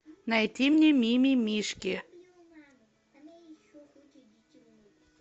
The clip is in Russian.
найти мне мимимишки